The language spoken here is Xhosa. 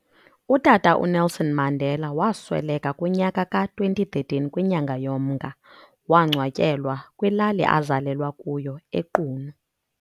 UTata uNelson Mandela wasweleka kunyaka ka2013 kwinyanga yoMnga, wangcwatyewa kwilali azalelwa kuyo eQunu.